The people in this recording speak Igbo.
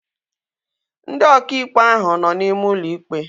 Ndị ọkà ikpe ahu nọ n'ime ụlọ ikpe